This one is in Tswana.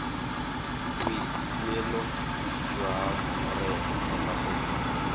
boikuelo jwa ngongorego kgotsa go